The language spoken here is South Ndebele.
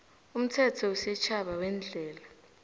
umthetho wesitjhaba weendlela